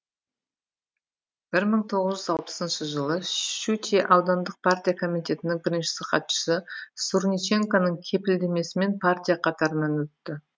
бір мың тоғыз жүз алпысыншы жылы шучье аудандық партия комитетінің бірінші хатшысы сурниченконың кепілдемесімен партия қатарына өтті